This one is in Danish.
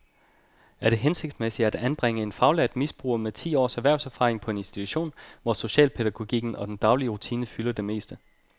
Er det hensigtsmæssigt at anbringe en faglært misbruger med ti års erhvervserfaring på en institution, hvor socialpædagogikken og den daglige rutine fylder det meste?